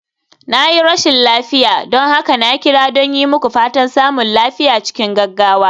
Na yi rashin lafiya, don haka na kira don yi muku fatan samun lafiya cikin gaggawa.